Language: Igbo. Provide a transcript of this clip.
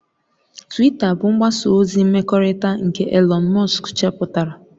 Twita bụ mgbasa ozi mmekọrịta nke Elon musk chepụtara